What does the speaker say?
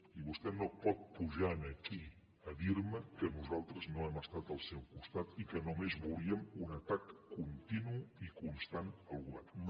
i vostè no pot pujar aquí a dir me que nosaltres no hem estat al seu costat i que només volíem un atac continu i constant al govern